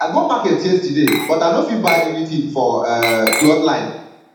i go market yesterday but i no fit buy anything for um cloth line